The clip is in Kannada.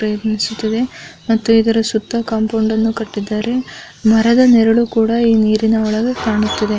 ಅನಿಸುತ್ತಿದೆ ಮತ್ತೆ ಇದರ ಸುತ್ತ ಕಾಂಪೌಂಡ್ ಅನ್ನು ಕಟ್ಟಿದ್ದಾರೆ ಮರದ ನೆರಳು ಕೂಡ ಈ ನೀರಿನ ಒಳಗೆ ಕಾಣುತ್ತದೆ .